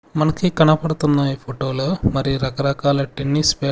మనకి కనపడుతున్న ఈ ఫోటో లో మరి రకరకాల టెన్నిస్ పే--